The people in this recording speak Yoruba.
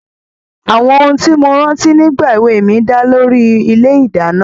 Àwọn ohun tí mo rántí nígbà èwe mi dá lórí ilé-ìdáná.